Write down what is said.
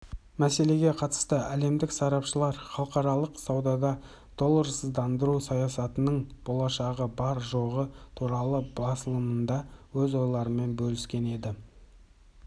мәселеге қатысты әлемдік сарапшылар халықаралық саудада долларсыздандыру саясатының болашағы бар-жоғы туралы басылымында өз ойларымен бөліскен еді